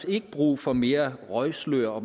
ikke brug for mere røgslør og